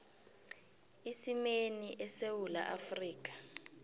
isimeni esewula afrika